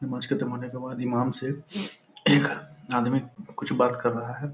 से आदमी कुछ बात कर रहा है।